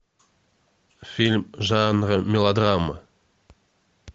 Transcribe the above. фильм жанра мелодрама